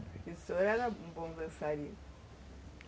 E o senhor era um bom dançarino?